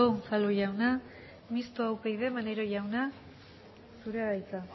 unzalu jauna mistoa upyd maneiro jauna zurea da hitza